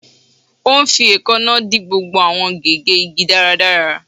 Ó ń fi èékánná dì gbogbo àwọn gégé igi dáradára